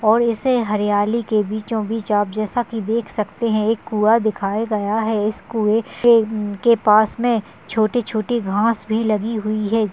और ऐसे हरियाली के बीचो-बीच आप जैसा की देख सकते हैं एक कुआ दिखाया गया हैं इस कुए के- के पास में छोटी-छोटी घास भी लगी हुई हैं।